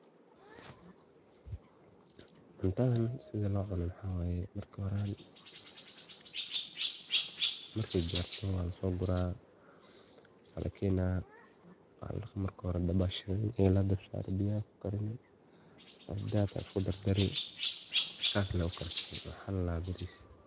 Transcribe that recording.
Cuntadan sida loo cuno maxaa waye marki horan, marki gaarto waa lasoo guraa waa lakenaa waa ladhaqa marki hore dab aa shidani egi la dab saaro biyaha kukarini cuntadad isku dardari, sas lee ukarsani waxaa ladhaha baaris